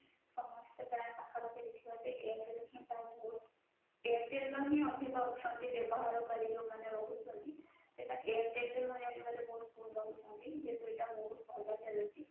ସମସ୍ତେ ପ୍ରାୟ ପାଖ ପାଖି airtel ର ହି ପ୍ରାୟ airtel ର ହି ଅଧିକ ଅଛନ୍ତି ବ୍ୟବହାରୀ କାରି ଯୌମାନେ ରହୁଛନ୍ତି ସେଟା airtel ରେ ନହି ଅଧିକ ରହୁଛନ୍ତି